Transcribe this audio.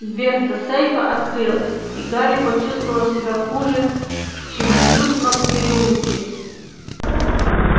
дверца сейфа открылась и гарри почувствовал себя хуже чем в людном переулке